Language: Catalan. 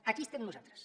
aquí estem nosaltres